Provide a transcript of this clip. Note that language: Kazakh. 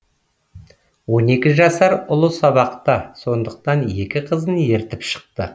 он екі жасар ұлы сабақта сондықтан екі қызын ертіп шықты